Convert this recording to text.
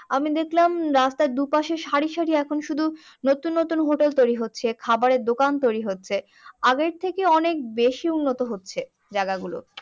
আমি দেখলাম রাস্তার দুপাশে সারি সারি এখন শুধু নতুন নতুন hotel তৈরী হচ্ছে খাবারের দোকান তৈরী হচ্ছে। আগের থেকে অনেক বেশি উন্নত হচ্ছে জায়গা গুলো